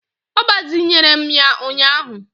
Ọ gbazinyere m ya ụnyaahụ